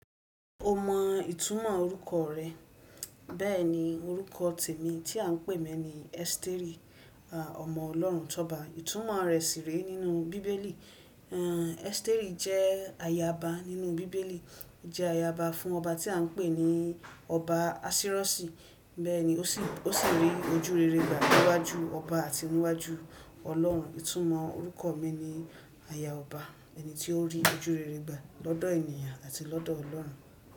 O mọ ìtumọ̀ orúkọ rẹ. Bẹ́ẹ̀ni orúkọ tèmi tí à ń pè mí ni Esteri, ọmọ Ọlọ́run tọba. Ìtúmọ̀ rẹ̀ sì re nínú bíbélì. Esteri jẹ́ ayaba nínú bíbélì. Je ayaba fun oba ti a n pe ni oba. Bẹ́ẹ̀ni ó sì rí ojúrere gbà níwájú ọba àti níwájú Ọlọ́run. Ìtúmọ̀ orúkọ mi ni aya ọba, ẹni tí ó rí ojúrere gbà lọ́dọ̀ ènìyàn àti lọ́dọ̀ Ọlọ́run.